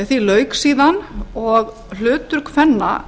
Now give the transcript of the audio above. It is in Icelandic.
því lauk síðan og hlutur kvenna